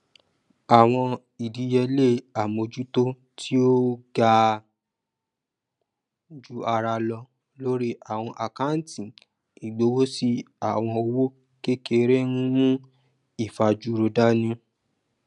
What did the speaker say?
àwọn ìdíyelé àmójútó tí ó ó ga ju ara lọ lórí àwọn àkántì ìgbowósí àwọn òwò kékèké n mú ìfajúro dání